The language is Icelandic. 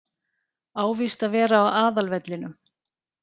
Á víst að vera á aðalvellinum.